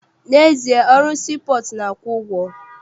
N'ezie, ọrụ sii pọọtụ na-akwụ ụgwọ.